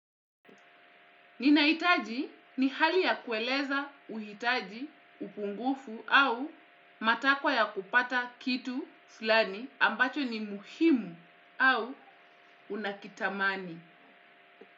Ninahitaji ni hali ya kueleza uhitaji, upungufu au matakwa ya kupata kitu fulani ambacho ni muhimu au unakitamani.